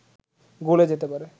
গলে যেতে পারে